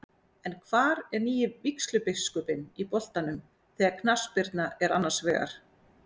En hvar er nýi vígslubiskupinn í boltanum þegar knattspyrna er annars vegar?